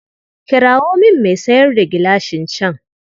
Kirawo min mai sayar da gilashin can.